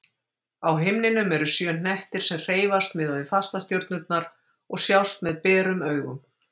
Á himninum eru sjö hnettir sem hreyfast miðað við fastastjörnurnar og sjást með berum augum.